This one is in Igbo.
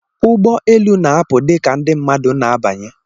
Ụgbọ elu na-apụ dika ndi mmadu na abanye.